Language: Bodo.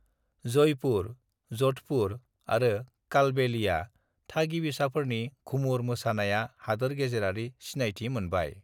"जयपुर, जधपुर आरो कालबेलिया थागिबिसाफोरनि घूमर मोसानाया हादोर गेजेरारि सिनायथि मोनबाय।"